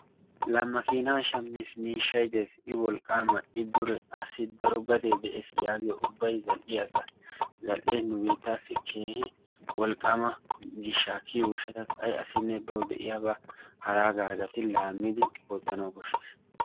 la maakina shammiis, miishshay dees, i wolqqaama, i dure, assi daro gadee dees yaagiyo ubbay zal''iya asaa. zal''e nu biittassi keehi wolqqama gishsha kiyyiyo gishshatassi ay asainne baw de'iyaaba haraagara gatti laammidi wottanaw koshshees.